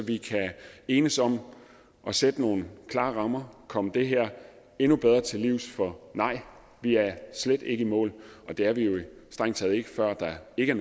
vi kan enes om at sætte nogle klare rammer og komme det her endnu bedre til livs for nej vi er slet ikke i mål og det er vi vel strengt taget ikke før der ikke